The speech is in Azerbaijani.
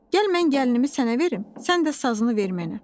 Gəl mən gəlinimi sənə verim, sən də sazını ver mənə.